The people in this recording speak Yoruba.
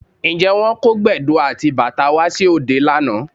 Ǹjẹ́ wọ́n kó Gbẹ̀du àti bàtá wá sí òde lánàá?